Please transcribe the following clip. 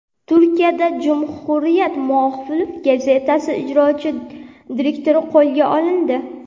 Turkiyada Cumhuriyet muxolif gazetasi ijrochi direktori qo‘lga olindi.